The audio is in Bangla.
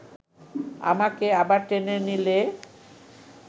আমাকে আবার টেনে নিলে